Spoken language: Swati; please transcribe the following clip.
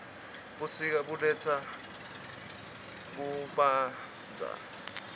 busika buletsa kubanotza